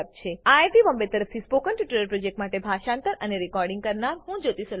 iit Bombay તરફથી spoken tutorial project માટે ભાષાંતર કરનાર હું જ્યોતી સોલંકી વિદાય લઉં છું